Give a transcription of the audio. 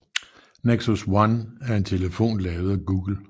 Nexus One er en telefon lavet af Google